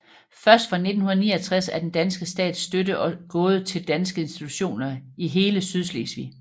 Først fra 1969 er den danske stats støtte gået til danske institutioner i hele Sydslesvig